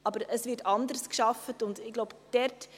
Aber es wird anders gearbeitet.